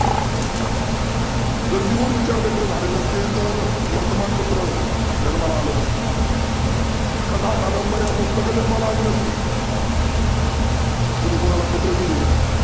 जर लिहून विचार व्यक्त झाले नसते तर वर्तमान पत्र जन्माला आलं नसतं. कथा, कादंबर्या जन्माला आल्या नसत्या कुणी कूणाला पत्र लिहीली नसती.